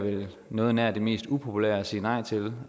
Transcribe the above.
noget nær det mest upopulære at sige nej til